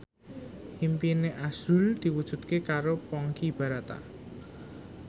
impine azrul diwujudke karo Ponky Brata